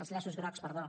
els llaços grocs perdó